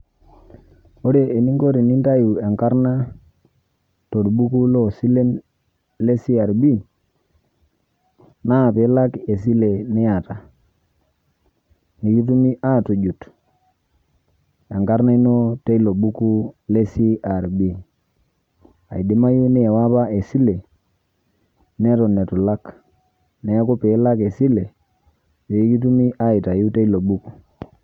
ore eninko tenintayu enarna torbuku loosilen le crb naa pee ilak esile niata. nikitumi aatujut enkarna ino teilo buku le CRB.eidimayu niiwa apa esile neton eitu ilak. neeku pee ilak esile, pee kitumi aaitayu teilo buku.